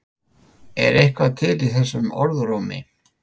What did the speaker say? Er eitthvað til í þessum orðrómi?